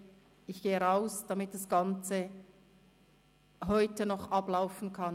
«Okay, ich gehe raus, damit das Ganze heute noch ablaufen kann».